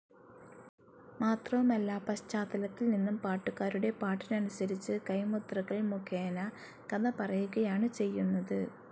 മാത്രവുമല്ല പശ്ചാത്തലത്തിൽനിന്നും പാട്ടുകാരുടെ പാട്ടിനനുസരിച്ച് കൈമുദ്രകൾ മുഖേന കഥ പറയുകയാണ്‌ ചെയ്യുന്നത്.